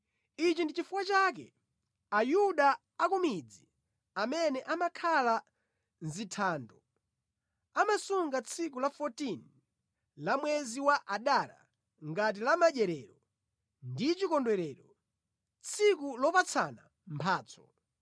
Ichi ndi chifukwa chake Ayuda a ku midzi, amene amakhala mʼzithando amasunga tsiku la 14 la mwezi wa Adara ngati la madyerero ndi chikondwerero, tsiku lopatsana mphatso.